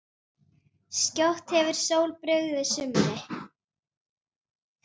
Skjótt hefur sól brugðið sumri